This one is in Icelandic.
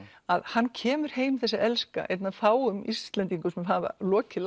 að hann kemur heim þessi elska einn af fáum Íslendingum sem hafa lokið